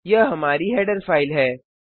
यह हमारी header file है